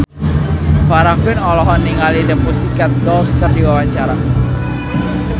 Farah Quinn olohok ningali The Pussycat Dolls keur diwawancara